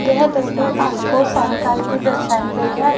यह तस्वीर आपको सायं काल की दर्शायी गई है।